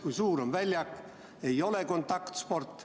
Kui mõelda, siis väljak on suur ja see ei ole kontaktsport.